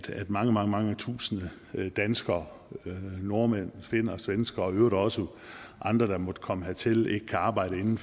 mange mange mange tusinde danskere nordmænd finner svenskere og i øvrigt også andre der måtte komme hertil ikke kan arbejde inden